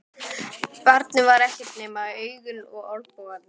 Barnið var ekkert nema augun og olnbogarnir.